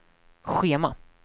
schema